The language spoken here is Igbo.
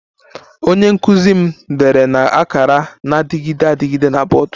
Onye nkụzi m dere na akara na-adịgide adịgide na bọọdụ